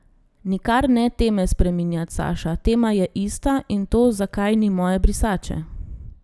Nikar ne teme spreminjat, Saša, tema je ista, in to, zakaj ni moje brisače.